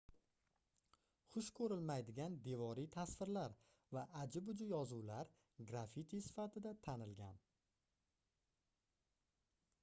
xush koʻrilmaydigan devoriy tasvirlar va aji-buji yozuvlar grafiti sifatida tanilgan